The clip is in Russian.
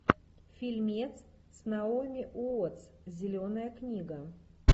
фильмец с наоми уотс зеленая книга